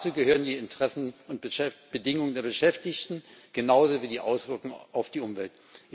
Dazu gehören die Interessen und die Bedingungen der Beschäftigten genauso wie die Auswirkungen auf die Umwelt.